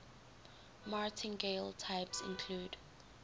martingale types include